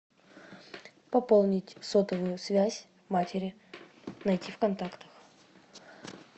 пополнить сотовую связь матери найти в контактах